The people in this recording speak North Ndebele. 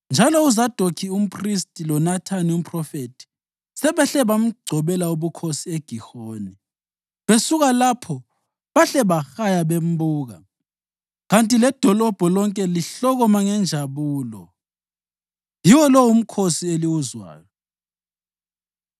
Njalo uZadokhi umphristi loNathani umphrofethi sebehle bamgcobela ubukhosi eGihoni. Besuka lapho bahle bahaya bembuka, kanti ledolobho lonke lihlokoma ngenjabulo. Yiwo lo umkhosi eliwuzwayo.